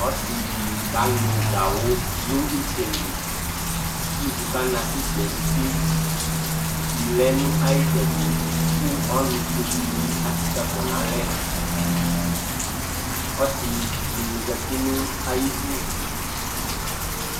Ɔsɩ dɩ kanʋ gawʋ nʋ ɩtsɛ li kʋ ivu kana ka ɩtsɛ yɛ nʋ uti Kusi lɛ nʋ ayʋ ɩtsɛdɩ kʋ ɔnʋfue dɩnɩ atsikǝkɔ nʋ alɛ Ɔsɩ dɩnɩ zati nʋ ayidu